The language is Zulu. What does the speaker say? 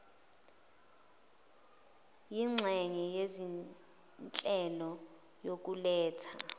yinxenye yezinhlelo yokuletha